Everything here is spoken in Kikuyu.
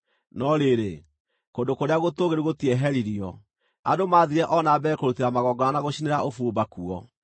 No rĩrĩ, kũndũ kũrĩa gũtũũgĩru gũtieheririo; andũ maathiire o na mbere kũrutĩra magongona na gũcinĩra ũbumba kuo.